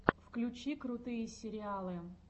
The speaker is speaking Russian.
включи крутые сериалы